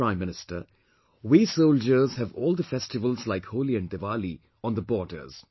Prime Minister, we soldiers have all the festivals like Holi and Diwali on the borders